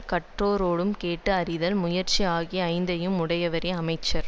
கற்றாரிடம் கேட்டு அறிதல் முயற்சி ஆகிய ஐந்தையும் உடையவரே அமைச்சர்